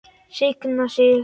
Signa sig?